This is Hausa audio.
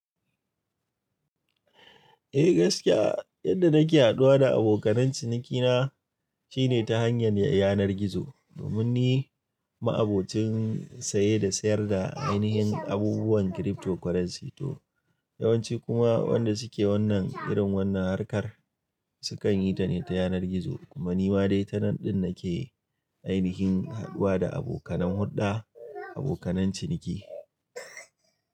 Eh gaskiya yadda nake haduwa da abokan cinikina shine ta hanyar yanar gizo. Domin ni ma'abocin saye da sayar da ainihin abubuwan cryptocurrency to yawanci kuma wanda suke wannan irin wannan harkar sukan yi ta ne ta yanar gizo kuma ni ma dai tanan din nake ainihin haduwa da abokan hudda abokan ciniki.